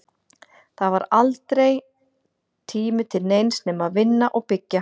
Það var aldrei tími til neins nema að vinna og byggja.